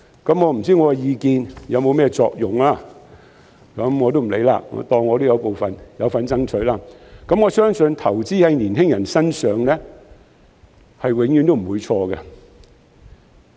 我不知道我的意見有否作用，就當我是有份爭取的其中一位吧，我相信投資在年青人身上，是永遠都不會錯的。